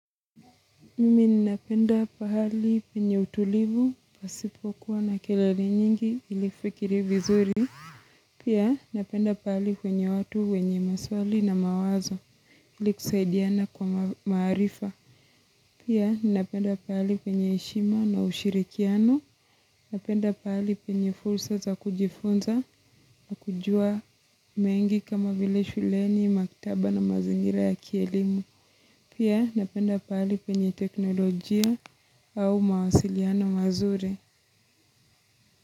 Mimi ninapenda pahali penye utulivu, pasipokuwa na kelele nyingi ilifikirie vizuri. Pia napenda pahali penye watu, wenye maswali na mawazo, ilikusaidiana kwa maarifa. Pia napenda pahali penye heshima na ushirikiano. Napenda pahali penye fursa za kujifunza na kujua mengi kama vile shuleni, maktaba na mazingira ya kielimu. Pia napenda pahali penye teknolojia au mawasiliano mazuri.